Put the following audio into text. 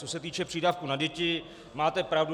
Co se týče přídavku na děti, máte pravdu.